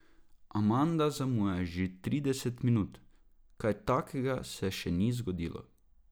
Amanda zamuja že trideset minut, kaj takega se še ni zgodilo.